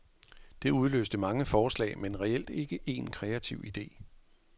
Det udløste mange forslag, men reelt ikke en kreativ ide.